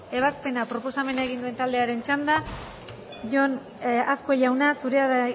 ebazpena proposamena egin duen taldearen txanda jon azkue jauna zurea da